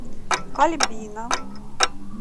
альбина